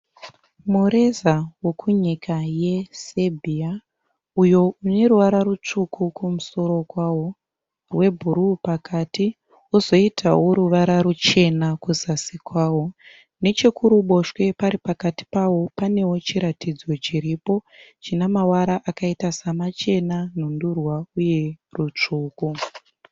Mureza wokunyika yeSerbia uyo une ruvara rutsvuku kumusoro kwawo, rwebhuru pakati wozoitawo ruvara ruchena kuzasi kwawo. Nechekuruboshwe pari nechepakati pawo pane chiratidzo chiripo china mavara samachena, nhundurwa uye rutsvuku.